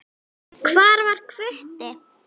Hvar var Hvutti?